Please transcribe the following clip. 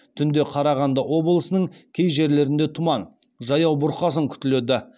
түнде қарағанды облысының кей жерлерінде тұман жаяу бұрқасын күтіледі